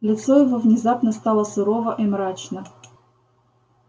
лицо его внезапно стало сурово и мрачно